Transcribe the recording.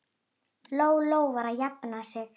Lóa-Lóa var að jafna sig.